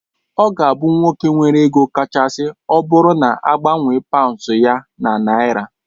Ọ ga abụ nwoke nwere ego kachasị ọbụrụ na agbanwe paunds ya na naira.